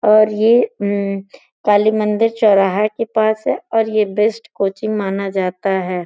और ये काली मंदिर चौराहा के पास है और ये बेस्ट कोचिंग माना जाता है।